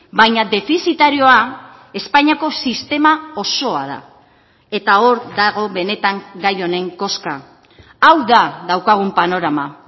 baina defizitarioa espainiako sistema osoa da eta hor dago benetan gai honen koska hau da daukagun panorama